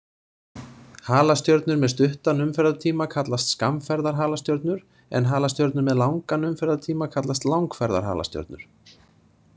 Halastjörnur með stuttan umferðartíma kallast skammferðarhalastjörnur en halastjörnur með langan umferðartíma kallast langferðarhalastjörnur.